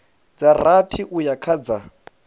dza rathi uya kha dza